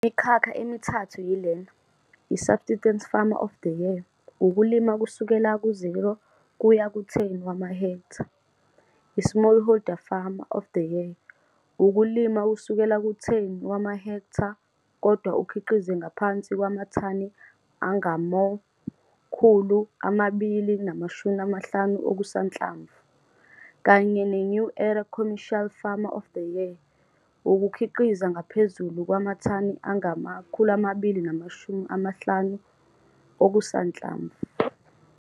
Le imikhakha emithathu yilena - I-Subsistence Farmer of the Year, ukulima kusukela ku-0 kuya ku10 wamahektha, i-Smallholder Farmer of the Year, ukulima kusukela ku-10 wamahektha, kodwa ukhiqize ngaphansi kwamathani angama-250 okusanhlamvu, kanye ne-New Era Commercial Farmer of the Year, ukukhiqiza ngaphezulu kwamathani angama-250 okusanhlamvu.